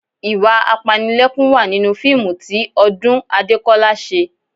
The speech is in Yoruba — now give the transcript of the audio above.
Ìwà apanilẹ́kún wà nínú fíìmù tí Ọdún Adékọ́lá ṣe